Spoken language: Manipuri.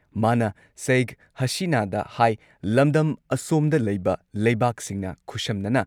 ꯃꯥꯅ ꯁꯩꯈ ꯍꯥꯁꯤꯅꯥꯗ ꯍꯥꯏ ꯂꯝꯗꯝ ꯑꯁꯣꯝꯗ ꯂꯩꯕ ꯂꯩꯕꯥꯛꯁꯤꯡꯅ ꯈꯨꯠꯁꯝꯅꯅ